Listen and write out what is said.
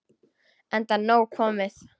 Enda nóg komið.